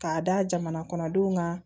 K'a da jamana kɔnɔdenw kan